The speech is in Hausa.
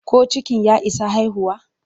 Ko cikin ya isa haihuwa?